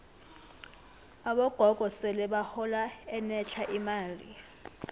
abogogo sele bahola enetlha imali